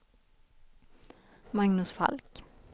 Magnus Falk